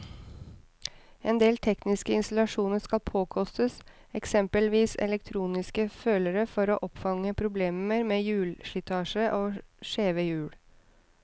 Endel tekniske installasjoner skal påkostes, eksempelvis elektroniske følere for å oppfange problemer med hjulslitasje og skjeve hjul.